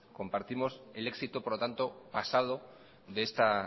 compartimos el éxito por lo tanto pasado de esta